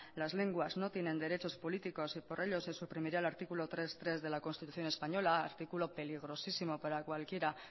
las lenguas no tienen derechos políticos y por ello se suprimirá el artículo tres punto tres de la constitución española artículo peligrosísimo para cualquiera